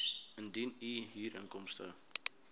indien u huurinkomste